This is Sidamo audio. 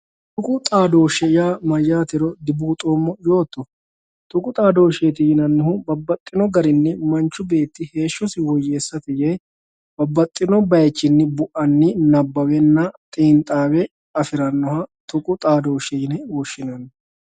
Tuqu xaadoshi yaa mayyatero dibuuxoommo yootto? Tuqu xaadosheti yinannihu babbaxxino garini manchu beetti heeshshosi woyyeessate yee babbaxxino bayichini buani nabbawe xiinxawe afiranoha tuqu xaadoshe yine woshshinanni.